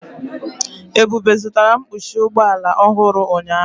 Ebube zụtara mkpuchi ụgbọ ala ọhụrụ ụnyahụ.